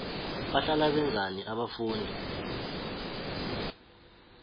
bahlala benzani abafundi